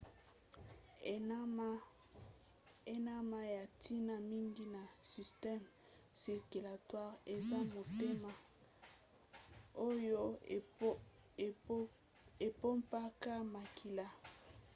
enama ya ntina mingi na systeme circulatoire eza motema oyo epompaka makila